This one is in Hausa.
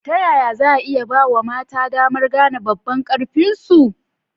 Ta yaya za a iya ba wa mata damar gane babban ƙarfinsu?